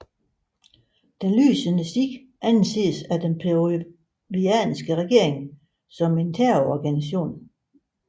Den lysende Sti anses af den peruvianske regering som en terrororganisation